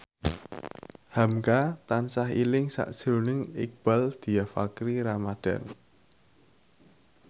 hamka tansah eling sakjroning Iqbaal Dhiafakhri Ramadhan